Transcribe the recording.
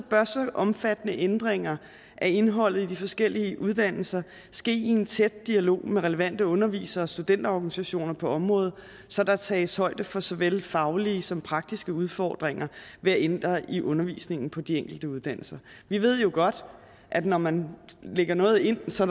omfattende ændringer af indholdet i de forskellige uddannelser ske i en tæt dialog med relevante undervisere og studenterorganisationer på området så der tages højde for såvel faglige som praktiske udfordringer ved at ændre i undervisningen på de enkelte uddannelser vi ved jo godt at når man lægger noget ind så